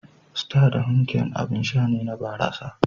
Star da Heineken abin sha ne na barasa.